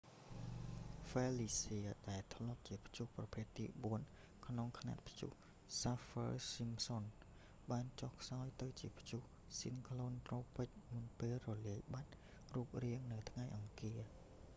ហ្វឺលីស្ហឺ felicia ដែលធ្លាប់ជាព្យុះប្រភេទទី 4 ក្នុងខ្នាតព្យុះសាហ្វឺ ស៊ីមសុន saffir-simpson បានចុះខ្សោយទៅជាព្យុះស៊ីក្លូនត្រូពិចមុនពេលរលាយបាត់រូបរាងនៅថ្ងៃអង្គារ